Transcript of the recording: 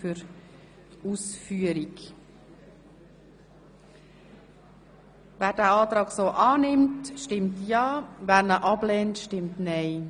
Wer den Kreditantrag annimmt, stimmt ja, wer ihn ablehnt, stimmt nein.